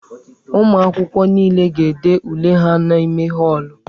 Ụmụ akwụkwọ niile ga-ede ule ha n'ime họọlụ.